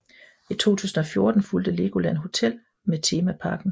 I 2014 fulgte Legoland Hotel ved temaparken